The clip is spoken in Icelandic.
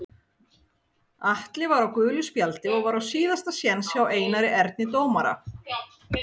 Atli var á gulu spjaldi og var á síðasta séns hjá Einari Erni dómara.